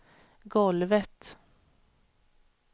golvet